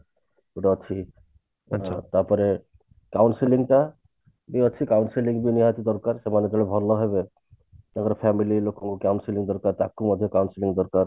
ଯୋଉଟା ଛାଇ ତାପରେ counselling ଟା ବି ଅଛି counselling ବି ନିହାତି ଦରକାର ସେମାନେ ପୁଣି ଭଲ ହେବେ ତାଙ୍କର family ଲୋକଙ୍କୁ counselling ଦରକାର ତାକୁ ମଧ୍ୟ counselling ଦରକାର